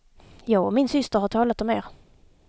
Jag och min syster har talat om er.